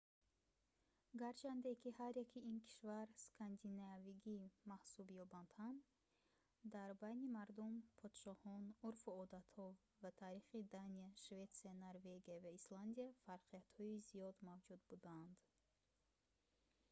гарчанде ки ҳар яки ин кишвар cкандинавиягӣ маҳсуб ёбанд ҳам дар байни мардум подшоҳон урфу одатҳо ва таърихи дания шветсия норвегия ва исландия фарқиятҳои зиёд мавҷуд буданд